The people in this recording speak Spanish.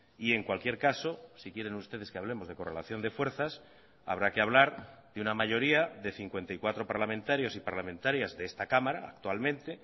y en cualquier caso si quieren ustedes que hablemos de correlación de fuerzas habrá que hablar de una mayoría de cincuenta y cuatro parlamentarios y parlamentarias de esta cámara actualmente